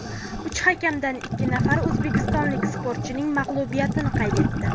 Uch hakamdan ikki nafari o‘zbekistonlik sportchining mag‘lubiyatini qayd etdi.